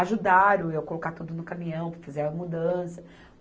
Ajudaram eu colocar tudo no caminhão, para fazer a mudança.